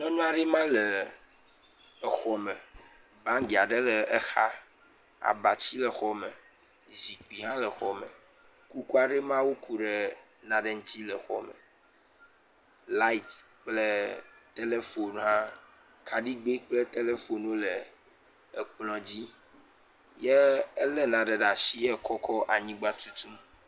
Nyɔnua ɖe ma le xɔme. Bangi aɖe le exa, abatsi le xɔme, zikpui hã le xɔ me. Kuku aɖe maa woku ɖe nane ŋuti le xɔ me. Light kple telephone hã, kaɖigbe kple telephone wole ekplɔ dzi. Ye ele nane ɖe asi wò kɔkɔ anyigba tutum.